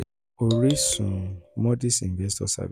oríṣun moody's investors service